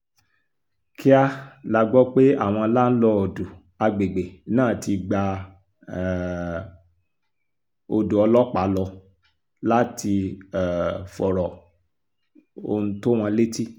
kíá la gbọ́ pé àwọn láńlọ́ọ̀dù àgbègbè náà ti gba um odò ọlọ́pàá lọ láti um fọ̀rọ̀ ohun tó wọn létí